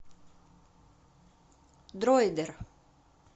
дроидер